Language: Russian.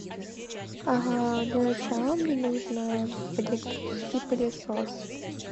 для начала мне нужно электрический пылесос